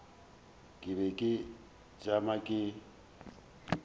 ke be ke tšama ke